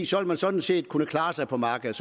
så vil man sådan set kunne klare sig på markedet